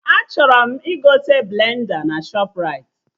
Achọrọ m igote blenda na Shọpraịti